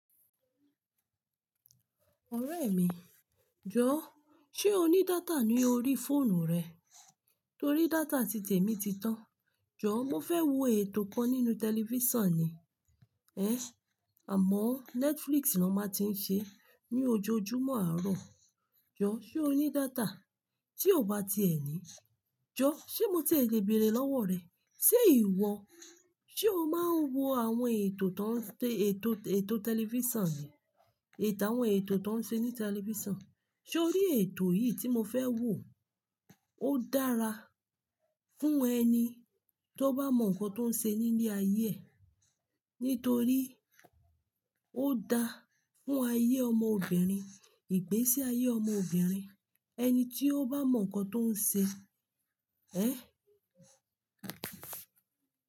Ọ̀rẹ́ mi, jọ̀ọ́ ṣé o ní data ní orí fóònù rẹ̀? Torí data títè'mi ti tán. Jọ̀ọ́ mo fẹ́ wo ètò kan nínú tẹlifísàn ni, ẹ́, àmọ́ Netflix ni won máa ti ń ṣe ní ojoojúmọ́ àárọ̀. Jọ̀ọ́ ṣé o ní data? Tí o bá ti ẹ ní, jọ̀ọ́ ṣé mo ti e le bèèrè lọ́wọ́ rẹ? Jọ̀ọ́ mo fẹ́ wo ètò kan nínú tẹlifísàn ni, ẹ́, àmọ́ Netflix ni won máa ti ń ṣe ní ojoojúmọ́ àárọ̀. Ètò àwọn ètò ti won ṣe ní tẹlifísàn. Ṣé o rí ètò yìí tí mo fẹ́ wò? Ó dára fún ẹni tó bá mọ nǹkan tó ń ṣe nílé ayé ẹ̀. Nítorí ó da fún ayé ọmọbìnrin, ìgbésí ayé ọmọbìnrin. Ẹni tí ó bá mọ nǹkan tó ń ṣe, ẹ́